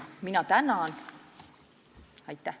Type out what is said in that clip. Aitäh!